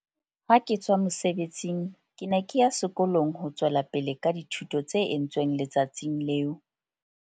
"Ha ke tswa mosebetsing, ke ne ke ya sekolong ho tswela pele ka dithuto tse entsweng le tsatsing leo".